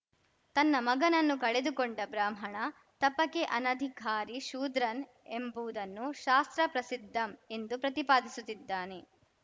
ತನ್ನ ಮಗನನ್ನು ಕಳೆದುಕೊಂಡ ಬ್ರಾಹ್ಮಣ ತಪಕೆ ಅನಧಿಕಾರಿ ಶೂದ್ರನ್‌ ಎಂಬುವುದನ್ನು ಶಾಸ್ತ್ರಪ್ರಸಿದ್ಧಂ ಎಂದು ಪ್ರತಿಪಾದಿಸುತ್ತಿದ್ದಾನೆ